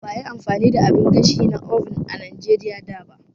Ba a yi amfani da abin gashi na oven a Najeriya da ba.